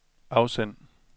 afsend